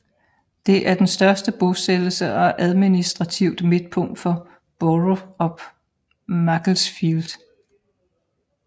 Det er den størtste bosættelse og administrativt midtpunkt for Borough of Macclesfield